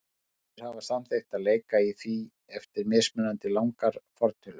Hinir hafa samþykkt að leika í því eftir mismunandi langar fortölur.